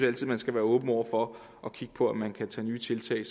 altid man skal være åben over for at kigge på om man kan tage nye tiltag